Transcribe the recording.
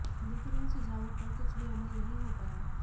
लेकिन इन सुझावों पर कुछ भी अमल नहीं हो पाया